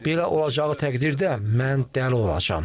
Belə olacağı təqdirdə mən dəli olacağam.